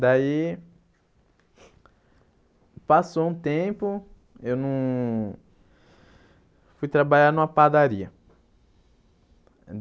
Daí... Passou um tempo, eu não... Fui trabalhar numa padaria.